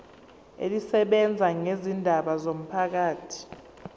elisebenza ngezindaba zomphakathi